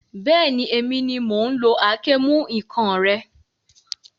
Bẹ́ẹ̀ni, èmi ni mò ún lo àáké-ìmú-ǹkan rẹ